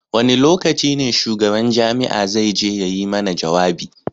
Wane lokacin ne shugaban jami'a zai je ya yi mana jawabi?